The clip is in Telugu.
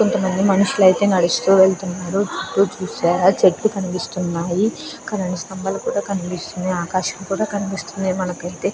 కొంత మంది మనుషులు అయితే నడుస్తూ వెళ్తున్నారు చూశారా చెట్లు కనిపిస్తున్నాయి కరెంట్ స్తంభాలు కనిపిస్తున్నాయి ఆకాశం కూడా కనిపిస్తుంది మనకైతే.